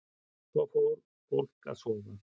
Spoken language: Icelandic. Svo fór fólk að sofa.